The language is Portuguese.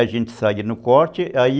A gente saía no corte, aí...